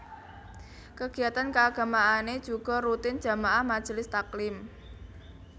Kegiatan keagamaane juga rutin jamaah majelis taklim